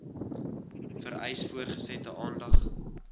vereis voortgesette aandag